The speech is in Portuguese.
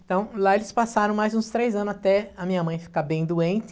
Então lá eles passaram mais uns três anos até a minha mãe ficar bem doente.